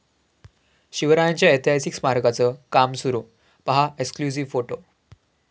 शिवरायांच्या ऐतिहासिक स्मारकाचं काम सुरू, पाहा एक्सक्ल्युझिव्ह फोटो